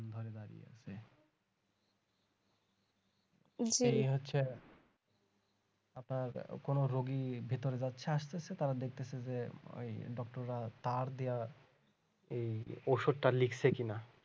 হচ্ছে আপনার কোন রোগী ভেতরে যাচ্ছে আসতেছে তারা দেখতেছে যে ওই doctor রা তার দিয়া এই ঔষধটা ওষুধটা লিখছে কিনা